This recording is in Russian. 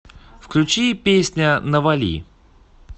включи песня навали